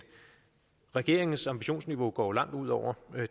regeringens ambitionsniveau går jo langt ud over